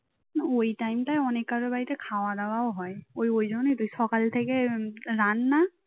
ওই টাইম টায় অনেক কারোর বাড়িতে খাওয়া দাওয়াও হয় ওই জন্য তো সকাল থেকে রান্না